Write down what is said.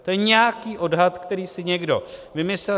To je nějaký odhad, který si někdo vymyslel.